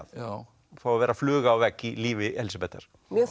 fá að vera fluga á vegg í lífi Elísabetar